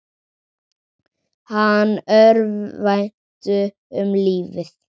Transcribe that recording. Hann örvænti um lífið.